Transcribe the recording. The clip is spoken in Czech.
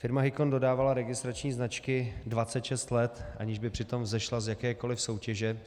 Firma Hicon dodávala registrační značky 26 let, aniž by přitom vzešla z jakékoliv soutěže.